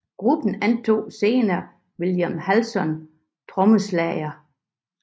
Gruppen antog senere Willie Hallsom trommeslager